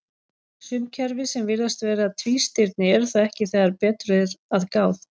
Sum kerfi sem virðast vera tvístirni eru það ekki þegar betur er að gáð.